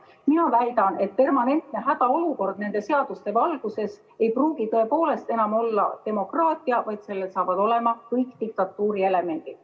Mina väidan, et permanentne hädaolukord nende seaduste valguses ei pruugi tõepoolest enam olla demokraatia, vaid sellel saavad olema kõik diktatuuri elemendid.